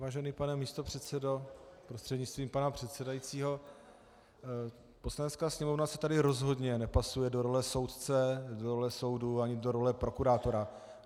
Vážený pane místopředsedo prostřednictvím pana předsedajícího, Poslanecká sněmovna se tady rozhodně nepasuje do role soudce, do role soudu ani do role prokurátora.